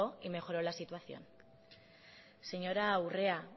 y mejoró la situación señora urrea